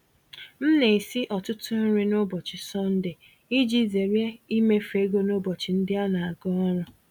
M na-esi ọtụtụ nri n'ụbọchị Sọnde iji zere imefu ego n'ụbọchị ndị anaga ọrụ.